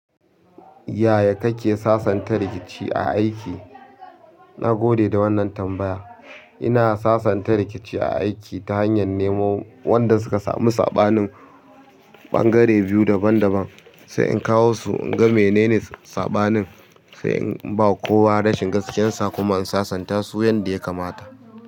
Yaya kake sasanta rikici a aiki? Na gode da wannan tambaya. Ina sasanta rikici a aiki ta hanyar nemo wanda suka samu saɓanin ɓangare biyu daban daban, sai in kawo su in ga menene saɓanin, sai in ba kowa rashin gaskiyarsa kuma in sasanta su yanda ya kamata.